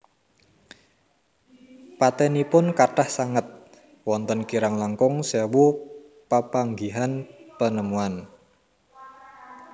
Patènipun kathah sanget wonten kirang langkung sewu papanggihan penemuan